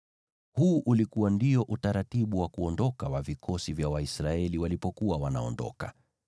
Huu ndio ulikuwa utaratibu wa kuondoka wa vikosi vya Waisraeli walipokuwa wanaondoka.